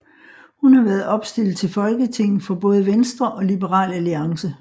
Hun har været opstillet til Folketinget for både Venstre og Liberal Alliance